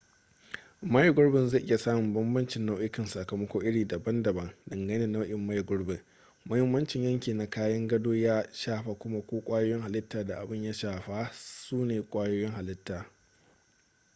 maye gurbi zai iya samun bambancin nau'ikan sakamako iri daban-daban dangane da nau'in maye gurbi mahimmancin yanki na kayan gado ya shafa kuma ko kwayoyin halita da abin ya shafa sune kwayoyin halita